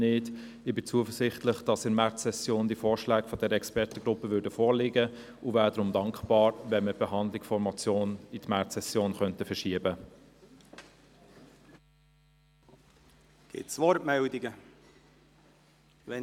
Ich bin zuversichtlich, dass die Vorschläge der Expertengruppe in der Märzsession vorliegen werden und wäre deshalb dankbar, wenn die Behandlung der Motion auf die Märzsession verschoben werden könnte.